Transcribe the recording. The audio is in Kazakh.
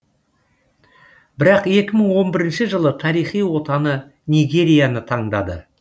бірақ екі мың он бірінші жылы тарихи отаны нигерияны таңдады